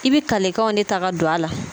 I bɛ kalekanw de ta ka don a la